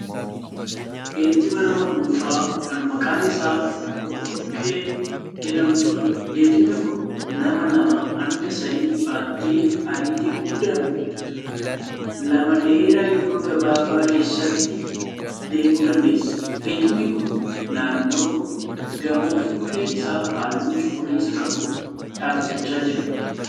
Geejjiba nama dhuunfaa kan maqaan isaa Dhokkodhokkee jedhamtuudha. Geejjibni kun nama lamaa hanga sadii baattee ariitii guddaan lama dheeraa yeroo gabaabaa keessatti deemuu dandeessi. Geejjibni kun naannoo gamoo fuulleen isaa halluu cuquliisa qabu dhaabbachaa jira.